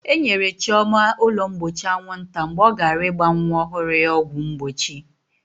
E nyere Chioma ụlọ mgbochi anwụnta mgbe ọ gara ịgba nwa ọhụrụ ya ọgwụ mgbochi.